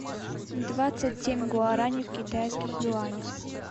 двадцать семь гуарани в китайских юанях